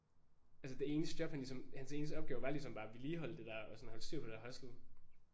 Altså det eneste job han ligesom hans eneste opgave var ligesom bare at vedligeholde det der og sådan holde styr på det der hostel